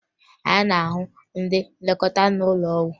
A na-ahụ ndị nlekọta n'ụlọ ọgwụ